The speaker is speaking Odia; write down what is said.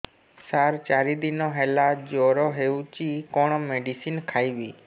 ସାର ଚାରି ଦିନ ହେଲା ଜ୍ଵର ହେଇଚି କଣ ମେଡିସିନ ଖାଇବି